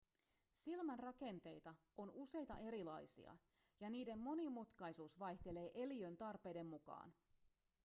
silmän rakenteita on useita erilaisia ja niiden monimutkaisuus vaihtelee eliön tarpeiden mukaan